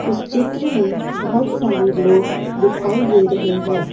इस चित्र में बहुत सारे लोग दिखाई दे रहे हैं।